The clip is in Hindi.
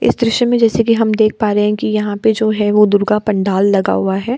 इस दृश्य में जैसे कि हम देख पा रहें हैं की यहाँ पे जो है वो दुर्गा पंडाल लगा हुआ है।